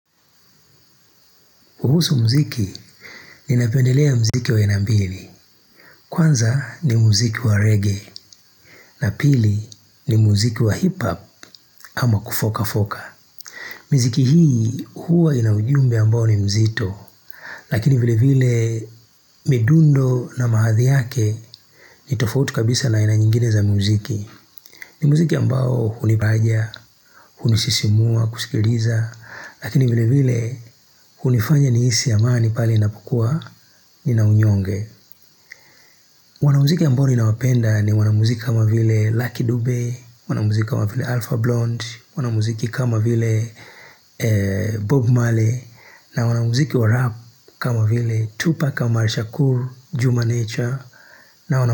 Kuhusu muziki ninapendelea muziki wa aina mbili. Kwanza ni muziki wa reggae. Na pili ni muziki wa hiphop ama kufoka foka. Miziki hii huwa ina ujumbe ambao ni mzito. Lakini vile vile midundo na mahadhi yake ni tofauti kabisa na aina nyingine za muziki. Ni muziki ambao hunibaja, hunisisimua, kusikiliza. Lakini vile vile hunifanya nihisi amani pale inapokua nina unyonge. Wanamuziki ambao ninawapenda ni wanamuziki kama vile Lucky Dube, Wanamuziki kama vile Alfa Blond, Wanamuziki kama vile Bob Maley, na wanamuziki rap kama vile Tupa kama Rishakur, Juma Nature.